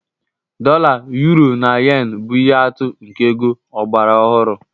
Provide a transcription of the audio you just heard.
Dolla, uro, na yen bụ ihe atụ nke ego ọgbara ọhụrụ.